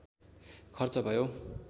खर्च भयो